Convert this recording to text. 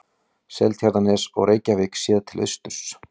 Seltjarnarnes og Reykjavík séð til austurs.